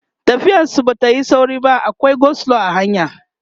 tafiyar su Bata Yi sauri ba akwai go slow a hanya